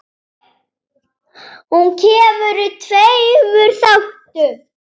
Hún kemur í tveimur þáttum.